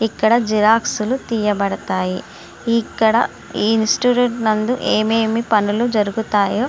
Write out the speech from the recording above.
ఇక్కడ జిరాక్స్ లు తీయబడతాయి. ఇక్కడ ఈ ఇన్స్టిట్యూట్ నందు ఏఏ పనులు జరుగుతాయో--